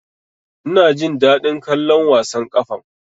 Ina jin daɗin kallon wasan ƙwallon ƙafan.